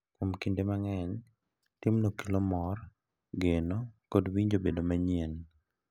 Kinde mang’eny, timno kelo mor, geno, kod winjo bedo manyien,